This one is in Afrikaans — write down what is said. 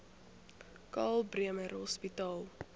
karl bremer hospitaal